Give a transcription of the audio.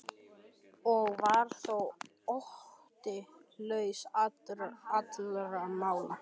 Og var þó Otti laus allra mála.